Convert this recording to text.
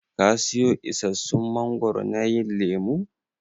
Ka siyo isassun mangoro na yin lemun?